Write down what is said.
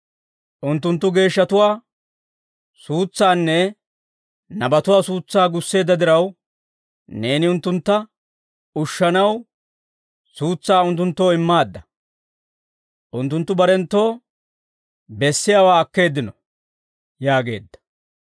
Unttunttu geeshshatuwaa suutsaanne, nabatuwaa suutsaa gusseedda diraw, neeni unttuntta ushshanaw, suutsaa unttunttoo immaadda. Unttunttu barenttoo, bessiyaawaa akkeeddino» yaageedda.